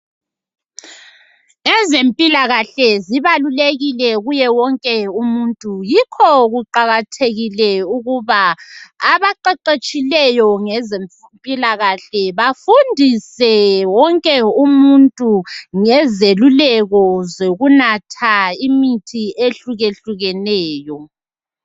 Ezempilakahle zibalulekile kuye wonke umuntu yikho kuqakathekile ukuba abaqeqetshileyo ngezempilakahle bafundise wonke umuntu ngezeluleko zokunatha imithi ihlukehlukehlekeneyo.